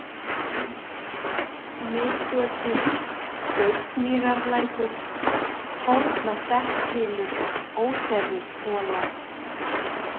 Miðgötur, Gauksmýrarlækur, Fornastekkshylur, Óþerrishola